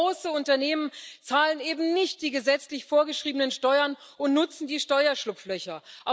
Viele große Unternehmen zahlen eben nicht die gesetzlich vorgeschriebenen Steuern und nutzen die Steuerschlupflöcher.